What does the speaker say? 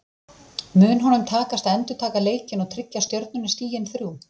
Mun honum takast að endurtaka leikinn og tryggja Stjörnunni stigin þrjú?